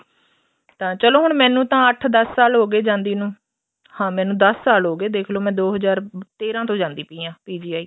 ਤਾਂ ਚਲੋ ਹੁਣ ਮੈਨੂੰ ਤਾਂ ਅੱਠ ਦੱਸ ਸਾਲ ਹੋ ਗਏ ਜਾਂਦੀ ਨੂੰ ਹਾਂ ਮੈਨੂੰ ਦੱਸ ਸਾਲ ਹੋ ਗਏ ਦੇਖਲੋ ਮੈਂ ਦੋ ਹਜ਼ਾਰ ਤੇਰਾਂ ਤੋਂ ਜਾਂਦੀ ਪਈ ਆ PGI